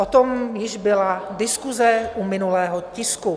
O tom již byla diskuse u minulého tisku.